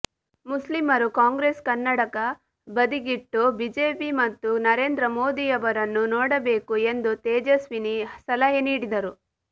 ಮುಸ್ಲಿಮರು ಕಾಂಗ್ರೆಸ್ ಕನ್ನಡಕ ಬದಿಗಿಟ್ಟು ಬಿಜೆಪಿ ಮತ್ತು ನರೇಂದ್ರ ಮೋದಿಯವರನ್ನು ನೋಡಬೇಕು ಎಂದು ತೇಜಸ್ವಿನಿ ಸಲಹೆ ನೀಡಿದರು